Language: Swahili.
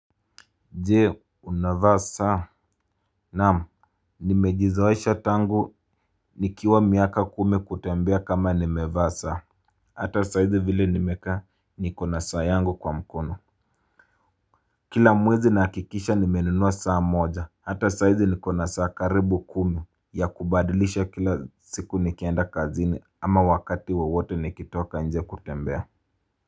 Je unavaa saa naam nimejizoesha tangu nikiwa miaka kumi kutembea kama nimevaa saa. Hata saizi vile nimekaa niko na saa yangu kwa mkono. Kila mwezi naakikisha nimenunua saa moja hata saizi nikona saa karibu kumi. Ya kubadilisha kila siku nikienda kazini ama wakati wowote nikitoka nje kutembea.